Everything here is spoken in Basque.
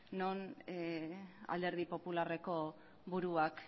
non alderdi popularreko buruak